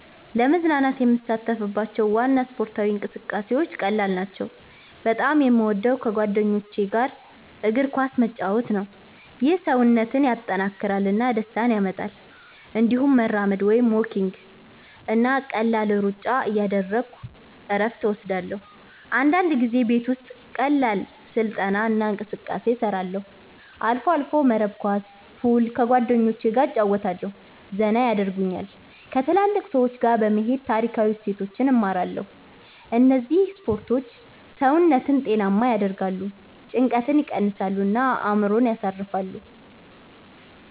ለመዝናናት የምሳተፍባቸው ዋና ስፖርታዊ እንቅስቃሴዎች ቀላል ናቸው። በጣም የምወደው ከጓደኞች ጋር እግር ኳስ መጫወት ነው። ይህ ሰውነትን ያጠናክራል እና ደስታ ያመጣል። እንዲሁም መራመድ (walking) እና ቀላል ሩጫ እያደረግሁ እረፍት እወስዳለሁ። አንዳንድ ጊዜ ቤት ውስጥ ቀላል ስልጠና እና እንቅስቃሴ እሰራለሁ። አልፎ አልፎ መረብ ኳስ፣ ፑል ከጓደኞቸ ገ እጨረወታለሁ ዘና የደርጉኛል። ከትልልቅ ሰዎች ጋ በመሄድ ታሪካዊ እሴቶችን እማራለሁ እነዚህ ስፖርቶች ሰውነትን ጤናማ ያደርጋሉ፣ ጭንቀትን ይቀንሳሉ እና አእምሮን ያሳርፋሉ።